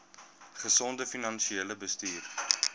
gesonde finansiële bestuur